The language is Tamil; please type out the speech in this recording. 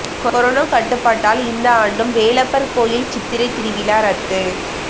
கொரோனா கட்டுப்பாட்டால் இந்த ஆண்டும் வேலப்பர் கோயில் சித்திரை திருவிழா ரத்து